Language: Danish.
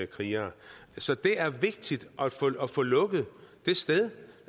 krigere så det er vigtigt at få lukket det sted